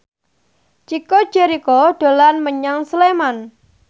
Chico Jericho dolan menyang Sleman